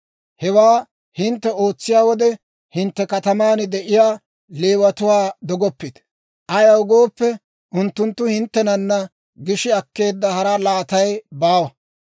«Hewaa hintte ootsiyaa wode, hintte kataman de'iyaa Leewatuwaa dogoppite; ayaw gooppe, unttunttu hinttenana gishi akkeedda hara laatay baawa.